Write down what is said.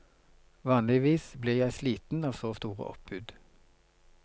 Vanligvis blir jeg sliten av så store oppbud.